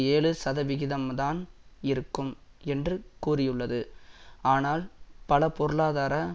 ஏழு சதவிகிதம்தான் இருக்கும் என்று கூறியுள்ளது ஆனால் பல பொருளாதார